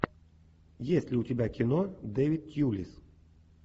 есть ли у тебя кино дэвид тьюлис